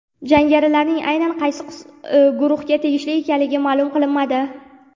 Jangarilarning aynan qaysi guruhga tegishli ekanligi ma’lum qilinmadi.